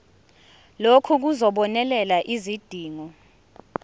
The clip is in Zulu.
lokhu kuzobonelela izidingo